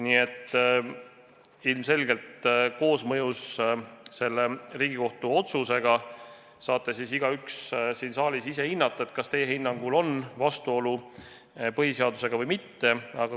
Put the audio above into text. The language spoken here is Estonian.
Nii et koosmõjus selle Riigikohtu otsusega te saate siin saalis igaüks ise hinnata, kas teie hinnangul on vastuolu põhiseadusega või mitte.